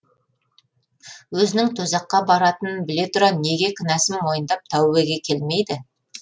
өзінің тозаққа баратынын біле тұра неге кінәсін мойындап тәубеге келмейді